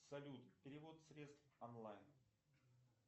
салют перевод средств онлайн